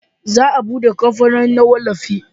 za a bude kamfanoni na wallafi